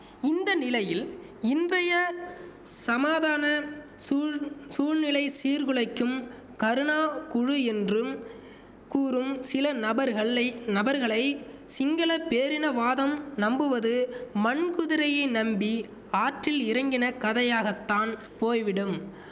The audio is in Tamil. இந்த நிலையில் இன்றைய சமாதான சூழ் சூழலை சீர்குலைக்கும் கருணா குழு என்றும் கூறும் சில நபர்கள்ளை நபர்களை சிங்கள பேரினவாதம் நம்புவது மண்குதிரையை நம்பி ஆற்றில் இறங்கின கதையாகத்தான் போய்விடும்